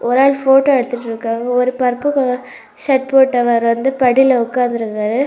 ஒரு ஆள் ஃபோட்டோ எடுத்துட்டு இருக்காங்க ஒரு பர்ப்பிள் கலர் ஷர்ட் போட்டவரு வந்து படில உக்கார்ந்திருக்காரு.